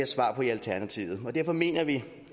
svar på i alternativet og derfor mener vi